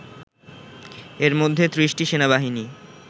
এরমধ্যে ৩০টি সেনাবাহিনী